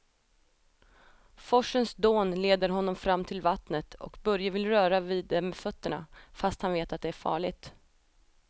Forsens dån leder honom fram till vattnet och Börje vill röra vid det med fötterna, fast han vet att det är farligt.